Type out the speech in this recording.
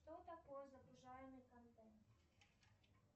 что такое загружаемый контент